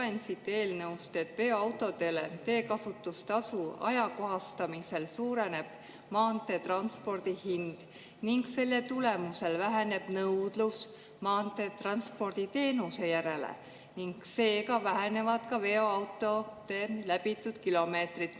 Loen siit eelnõu: "Veoautodele teekasutustasu ajakohastamisel suureneb maanteetranspordi hind ning selle tulemusel väheneb nõudlus maanteetranspordi teenuste järele ning seega vähenevad ka veoautode läbitud kilomeetrid.